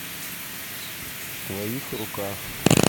в твоих руках